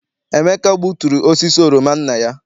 Emeka gbuturu osisi oroma nna ya.